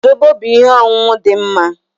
Zobo bụ ihe ọṅụṅụ dị mma